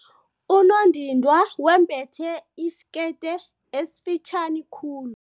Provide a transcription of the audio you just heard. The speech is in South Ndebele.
Unondindwa wembethe isikete esifitjhani khulu.